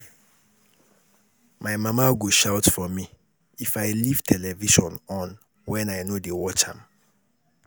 My mama go shout for me if I leave television on wen I no dey watch am